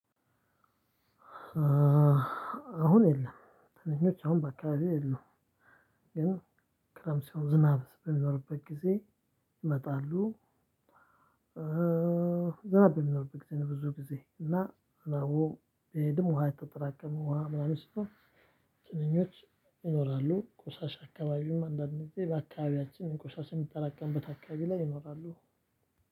አሁን የለም ትንኞች አሁን በአካባቢ የለውም ግን ክረምት ሲሆን ዝናብ በሚኖርበት ጊዜ ይመጣሉ። ዝናብ በሚኖርብህ ጊዜ ነው ብዙ ጊዜ እና ደግሞ ውሃ የተጠራቀመ ውሃ ምናምን ሲሆን ትንኞች ይኖራሉ። ቆሻሻ አካባቢም አንዳንድ ጊዜ በአካባቢያችን ቆሻሻ የሚጠራቀምበት አካባቢ ላይ ይኖራሉ።